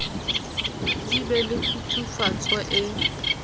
di be le kgutsufatso e